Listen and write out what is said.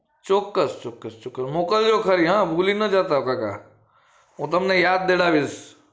ચોક્કસ ચોક્કસ ચોક મોકલ જો ખરી હા ભૂલી ના જતા કાકા હું તમને યાદ દેવડાઇસ